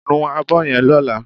Nu abọ́ yen lọ́lá